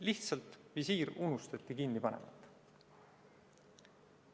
Lihtsalt visiir unustati kinni panemata.